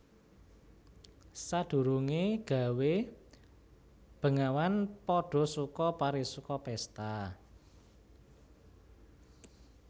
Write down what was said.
Sadurungé gawé bengawan padha suka parisuka pésta